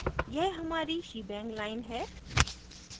यह हमारी shebang line है